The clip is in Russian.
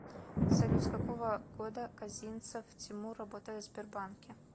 салют с какого года козинцев тимур работает в сбербанке